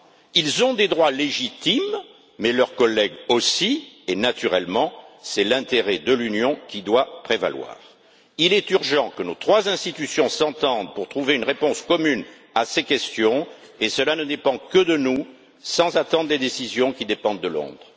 Ils ont des droits légitimes, mais leurs collègues aussi et, naturellement, c'est l'intérêt de l'Union qui doit prévaloir. Il est urgent que nos trois institutions s'entendent pour trouver une réponse commune à ces questions, et cela ne dépend que de nous, sans attendre les décisions qui dépendent de Londres.